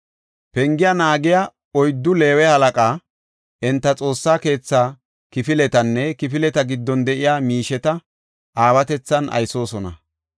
Pengiya naagiya oyddu Leeweti halaqa; enti Xoossa keethaa kifiletanne kifileta giddon de7iya miisheta aawatethan aysoosona.